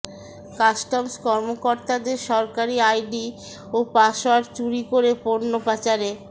customs কর্মকর্তাদের সরকারি ID ও পাসওয়ার্ড চুরি করে পণ্য পাচারে